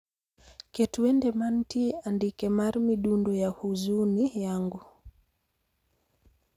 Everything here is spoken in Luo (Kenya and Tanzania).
Ket wende mantie andike mar midundo ya huzuni yangu